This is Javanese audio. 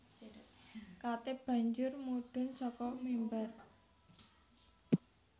Khatib banjur mudhun saka mimbar